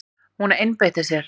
Hún einbeitti sér.